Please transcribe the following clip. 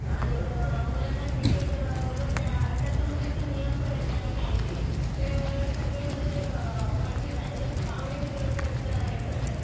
आणि एक मुलांना क्रिकेट व त्यासंबंधीचे नियम पण आहेत आणि कायदे. हे सगळे म्हणजे एक माहितीच आहे. म्हणजे खूप आवडीने ते लोकं आहेतना हे करतात.